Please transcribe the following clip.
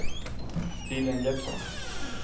Lilian Jeppsson